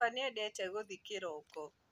Baba nĩendete gũthiĩ kĩroko